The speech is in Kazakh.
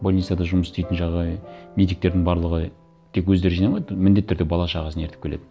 больницада жұмыс істейтін медиктердің барлығы тек өздері жиналмайды міндетті түрде бала шағасын ерітіп келеді